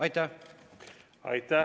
Aitäh!